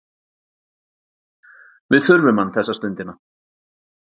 Við þurfum hann þessa stundina.